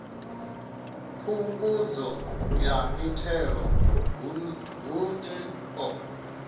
phungudzo ya mithelo hun o